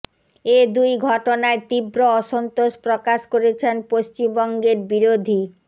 এ দুই ঘটনায় তীব্র অসন্তোষ প্রকাশ করেছেন পশ্চিমবঙ্গের বিরোধী